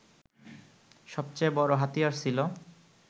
সবচেয়ে বড় হাতিয়ার ছিল